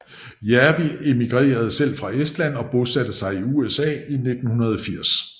Järvi immigrerede selv fra Estland og bosatte sig i USA i 1980